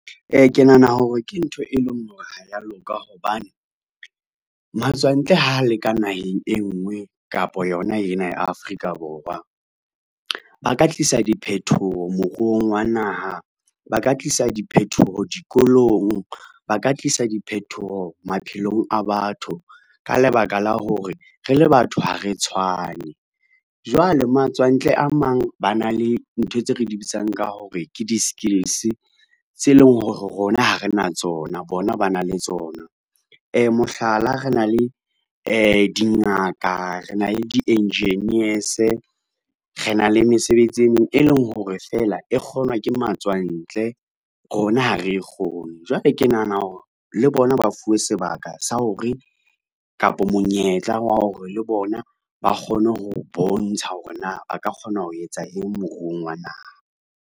Ke nahana hore ke ntho e leng hore ha ya loka hobane, matswantle ho leka naheng e ngwe kapa yona ena ya Afrika Borwa, ba ka tlisa diphethoho moruong wa naha, ba ka tlisa diphethoho dikolong, ba ka tlisa diphethoho maphelong a batho ka lebaka la hore re le batho ha re tshwane. Jwale matswantle a mang, ba na le ntho tse re di bitsang ka hore ke di-skills tse leng hore rona ha re na tsona, bona ba na le tsona. Mohlala, re na le dingaka rena le di-engineers rena le mesebetsi e meng e leng hore fela e kgonwa ke matswantle rona ha re e kgone, jwale ke nahana hore le bona ba fuwe sebaka sa hore kapa monyetla wa hore le bona ba kgone ho bontsha hore na ba ka kgona ho etsa eng moruong wa naha.